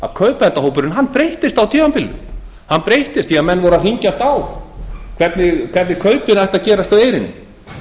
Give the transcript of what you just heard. að kaupendahópurinn breyttist á tímabilinu hann breyttist því menn voru að hringjast á hvernig kaupin ættu að gerast á eyrinni